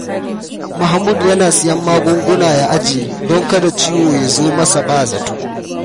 Mahmud yana siyan magunguna ya ajiye don kada ciwo ya zo masa ba zato.